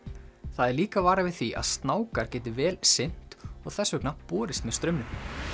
það er líka varað við því að geti vel synt og þess vegna borist með straumnum